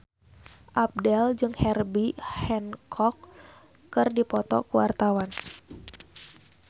Abdel jeung Herbie Hancock keur dipoto ku wartawan